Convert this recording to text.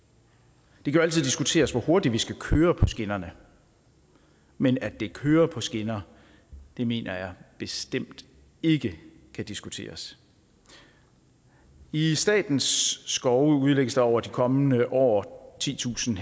det kan jo altid diskuteres hvor hurtigt vi skal køre på skinnerne men at det kører på skinner mener jeg bestemt ikke kan diskuteres i statens skove udlægges der over de kommende år titusind